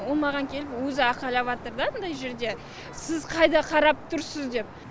ол маған келіп өзі айқайлаватыр да андай жерде сіз қайда қарап тұрсыз деп